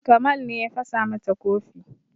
Kamal ne ya fasa mata kofi